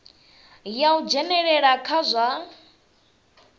ya u dzhenelela kha zwa